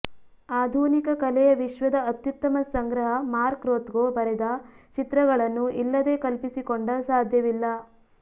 ಆಧುನಿಕ ಕಲೆಯ ವಿಶ್ವದ ಅತ್ಯುತ್ತಮ ಸಂಗ್ರಹ ಮಾರ್ಕ್ ರೊಥ್ಕೊ ಬರೆದ ಚಿತ್ರಗಳನ್ನು ಇಲ್ಲದೆ ಕಲ್ಪಿಸಿಕೊಂಡ ಸಾಧ್ಯವಿಲ್ಲ